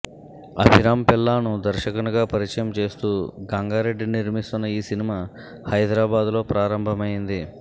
అభిరామ్ పిల్లాను దర్శకునిగా పరిచయం చేస్తూ గంగారెడ్డి నిర్మిస్తున్న ఈ సినిమా హైదరాబాద్లో ప్రారంభమైంది